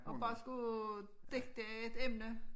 Og bare skulle digte et emne